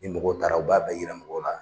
Ni mɔgɔw taara u b'a bɛɛ yira mɔgɔ la.